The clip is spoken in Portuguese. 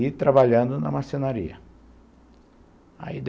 E trabalhando na marcenaria.